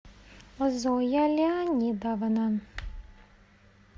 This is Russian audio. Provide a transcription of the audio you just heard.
зоя леонидовна